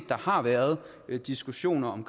der har været diskussioner om